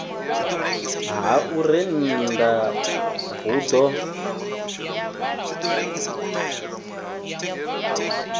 ha u rennda hu ḓo